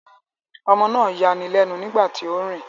Ọmọ náà ń yani lẹ́nu nígbà tí ó ń rìn